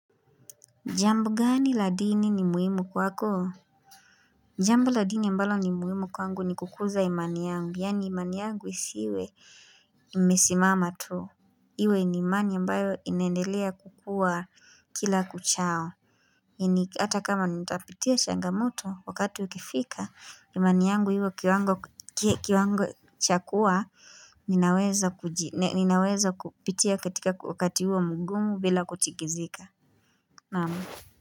Jambo gani la dini ni muhimu kwako? Jambo la dini ambalo ni muhimu kwangu ni kukuza imani yangu, yaani imani yangu isiwe imesimama tu. Iwe ni imani ambayo inaendelea kukuwa kila kuchao. Ini hata kama nitapitia changamoto wakati ukifika, imani yangu iwe kiwango cha kuwa ninaweza ninaweza kupitia katika wakati huo mgumu bila kutikizika. Naamu.